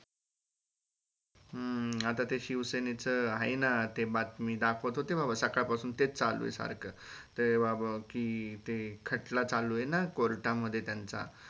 हम्म आता ते शिवसेनेचं आहे ना ते बातमी दाखवत होते बाबा सकाळ पसून तेच चालू आहे सारख ते बाबो कि ते खटला चालु आहे ना court मध्ये त्यांच